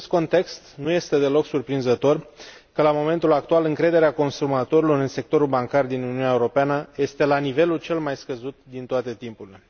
În acest context, nu este deloc surprinzător că, la momentul actual, încrederea consumatorilor în sectorul bancar din Uniunea Europeană este la nivelul cel mai scăzut din toate timpurile.